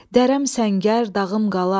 Dərəm səngər, dağım qala.